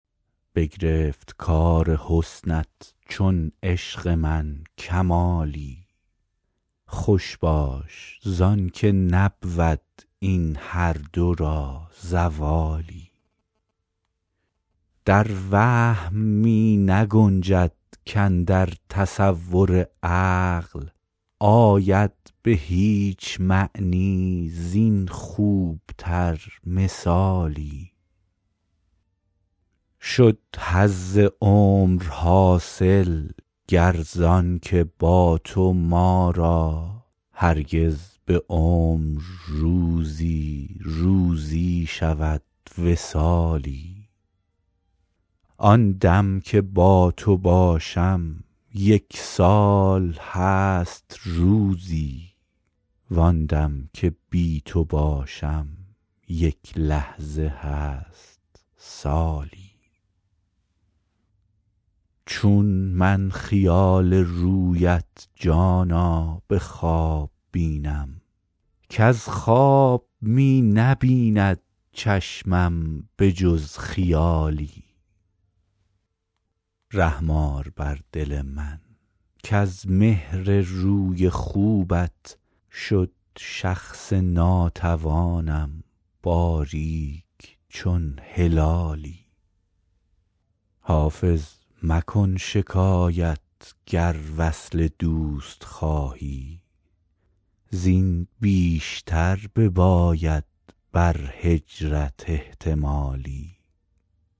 بگرفت کار حسنت چون عشق من کمالی خوش باش زان که نبود این هر دو را زوالی در وهم می نگنجد کاندر تصور عقل آید به هیچ معنی زین خوب تر مثالی شد حظ عمر حاصل گر زان که با تو ما را هرگز به عمر روزی روزی شود وصالی آن دم که با تو باشم یک سال هست روزی وان دم که بی تو باشم یک لحظه هست سالی چون من خیال رویت جانا به خواب بینم کز خواب می نبیند چشمم به جز خیالی رحم آر بر دل من کز مهر روی خوبت شد شخص ناتوانم باریک چون هلالی حافظ مکن شکایت گر وصل دوست خواهی زین بیشتر بباید بر هجرت احتمالی